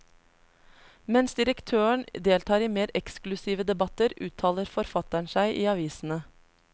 Mens direktøren deltar i mer eksklusive debatter, uttaler forfatteren seg i avisene.